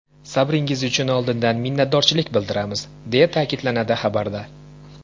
Sabringiz uchun oldindan minnatdorchilik bildiramiz”, deya ta’kidlanadi xabarda.